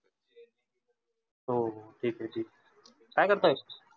हो हो ठीक आहे, ठीक आहे काय करताय?